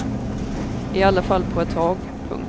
I alla fall på ett tag. punkt